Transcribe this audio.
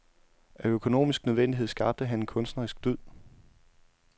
Af økonomisk nødvendighed skabte han en kunstnerisk dyd.